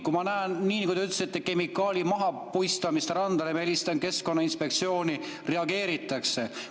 Kui ma näen, nii nagu te ütlesite, kemikaali mahapuistamist randa, ma helistan keskkonnainspektsiooni, reageeritakse.